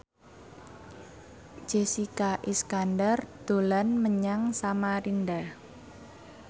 Jessica Iskandar dolan menyang Samarinda